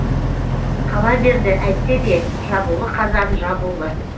қала берді әйтсе де жабулы қазан жабулы